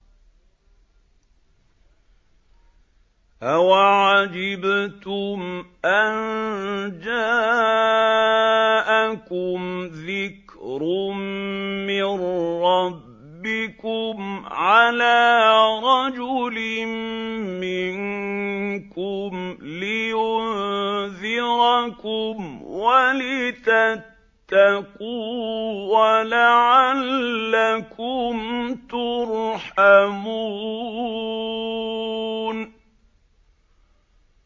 أَوَعَجِبْتُمْ أَن جَاءَكُمْ ذِكْرٌ مِّن رَّبِّكُمْ عَلَىٰ رَجُلٍ مِّنكُمْ لِيُنذِرَكُمْ وَلِتَتَّقُوا وَلَعَلَّكُمْ تُرْحَمُونَ